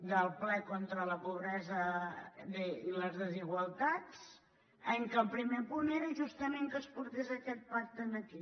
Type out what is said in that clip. del ple contra la pobresa i les desigualtats en què el primer punt era justament que es portés aquest pacte aquí